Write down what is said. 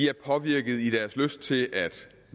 er påvirket i deres lyst til at